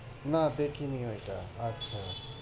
না দেখিনি ঐটা আচ্ছা